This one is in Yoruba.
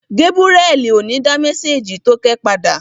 Gébúrẹ́li ò ní dá mésèjì tókẹ́ padà